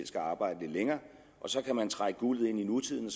skal arbejde lidt længere og så kan man trække guldet ind i nutiden